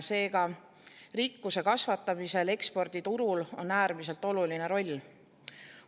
Seega, rikkuse kasvatamises on eksporditurul äärmiselt oluline roll.